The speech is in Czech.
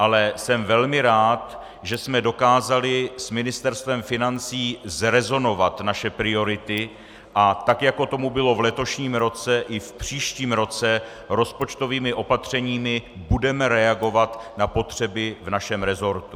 Ale jsem velmi rád, že jsme dokázali s Ministerstvem financí zrezonovat naše priority a tak, jako tomu bylo v letošním roce, i v příštím roce rozpočtovými opatřeními budeme reagovat na potřeby v našem resortu.